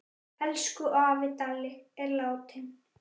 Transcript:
Elsku afi Dalli er látinn.